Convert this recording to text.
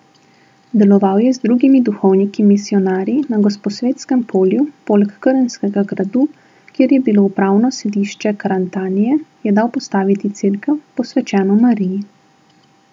Deloval je z drugimi duhovniki misijonarji, na Gosposvetskem polju, poleg Krnskega gradu, kjer je bilo upravno sedišče Karantanije, je dal postaviti cerkev, posvečeno Mariji.